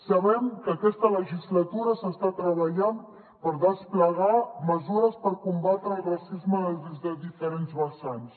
sabem que aquesta legislatura s’està treballant per desplegar mesures per combatre el racisme des de diferents vessants